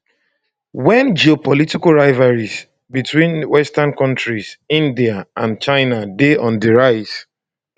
wen geopolitical rivalries between western countries india and china dey on di rise